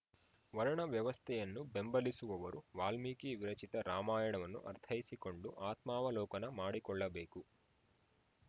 ವರ್ಣ ವ್ಯವಸ್ಥೆಯನ್ನು ಬೆಂಬಲಿಸುವವರು ವಾಲ್ಮೀಕಿ ವಿರಚಿತ ರಾಮಾಯಣವನ್ನು ಅರ್ಥೈಸಿಕೊಂಡು ಆತ್ಮಾವಲೋಕನ ಮಾಡಿಕೊಳ್ಳಬೇಕು